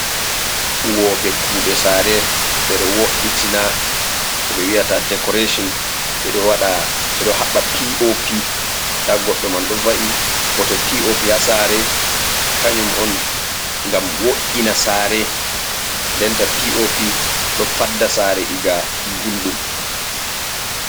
Huwoɓe kuɗe sare be ɗo wo’itina ko ɓe wi'ata decoration ɓeɗo haɓɓa POP nda goɗɗo man ɗo va’i. Bote POP ha sare kanjum on ngam wo’ina sare. Nden ta POP ɗo fadda sare iga gulɗum.